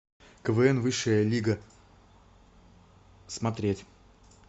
квн высшая лига смотреть